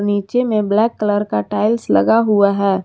नीचे में black colour का टाइल्स लगा हुआ है।